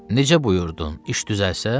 Necə buyurdun iş düzəlsə?